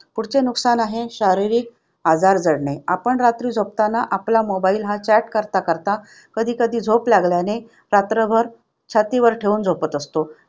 नुकसान आहे शारीरिक आजार करणे नुकसान आहे शारीरिक आजार जडणे. आपण रात्री झोपताना आपला mobile हा chat करता करता कधीकधी झोप लागल्याने रात्रभर छातीवर ठेवून झोपत असतो.